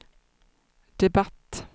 debatt